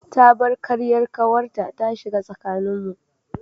Ta bar karyar kawarta ta shiga tsakaninmu.